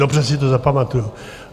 Dobře si to zapamatuji.